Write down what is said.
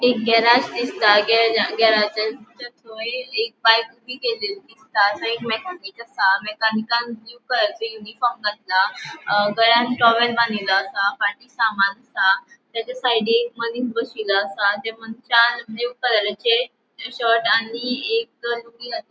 एक गॅरेज दिसता गॅरेज गॅरेजेचे एक बाइक ऊबी केली दिसता एक मेकॅनिक आसा मेकॅनिक ब्लू कलरचे यूनिफॉर्म घातला टॉवेल बांनिलों आसा फाटी सामान आसा ताचा साइडीन मनिस बोशीलों असा त्या मनशान ब्लू कलरचे शर्ट आणि एक लूँगी --